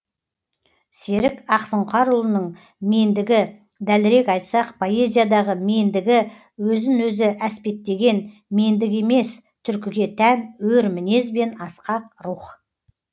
серік ақсұңқарұлының мендігі дәлірек айтсақ поэзиядағы мендігі өзін өзі әспеттеген мендік емес түркіге тән өр мінез бен асқақ рух